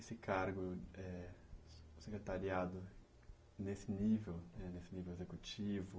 Esse cargo, eh, secretariado nesse nível, nesse nível executivo,